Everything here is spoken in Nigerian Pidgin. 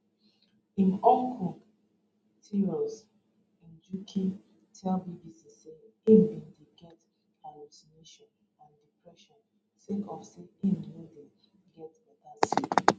im uncle tirus njuki tell bbc say im bin dey get hallucination and depression sake of say im no dey get beta sleep